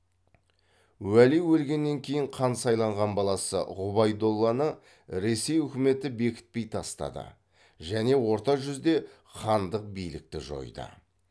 уәли өлгеннен кейін хан сайланған баласы ғұбайдолланы ресей үкіметі бекітпей тастады және орта жүзде хандық билікті жойды